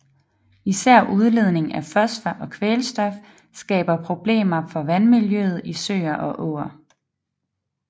Især udledning af fosfor og kvælstof skaber problemer for vandmiljøet i søer og åer